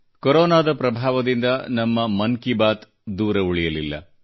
ಕೊರೊನಾದ ಪ್ರಭಾವದಿಂದ ನಮ್ಮ ಮನ್ ಕಿ ಬಾತ್ ದೂರ ಉಳಿಯಲಿಲ್ಲ